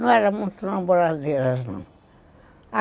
Não eram muito namoradeiras, não.